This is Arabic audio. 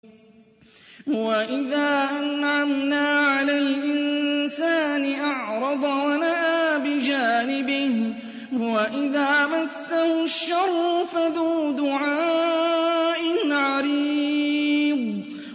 وَإِذَا أَنْعَمْنَا عَلَى الْإِنسَانِ أَعْرَضَ وَنَأَىٰ بِجَانِبِهِ وَإِذَا مَسَّهُ الشَّرُّ فَذُو دُعَاءٍ عَرِيضٍ